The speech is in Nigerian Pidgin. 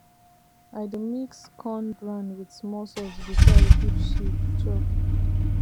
i dey mix corn bran with small salt before i give sheep chop